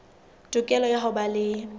tokelo ya ho ba le